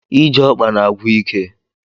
Ije ọkpa na-agwụ ike.